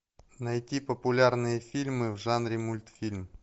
найти популярные фильмы в жанре мультфильм